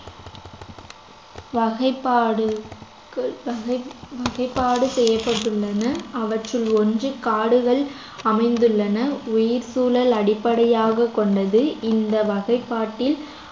வகைப்பாடு வகை~ வகைப்பாடு செய்யப்பட்டுள்ளன அவற்றில் ஒன்று காடுகள் அமைந்துள்ளன உயிர்ச்சூழல் அடிப்படையாகக் கொண்டது இந்த வகைப்பாட்டில்